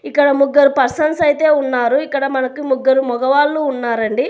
ఇక్కడ ముగ్గరు పర్సన్స్ అయితే ఉన్నారు. ఇక్కడ మనకు ముగ్గరు మగవాళ్ళు ఉన్నారండి.